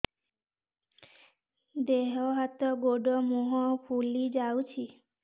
ଦେହ ହାତ ଗୋଡୋ ମୁହଁ ଫୁଲି ଯାଉଛି